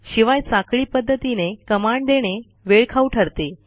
शिवाय साखळी पध्दतीने कमांड देणे वेळखाऊ ठरते